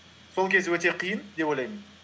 сол кез өте қиын деп ойлаймын